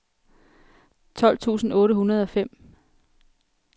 tolv tusind otte hundrede og fem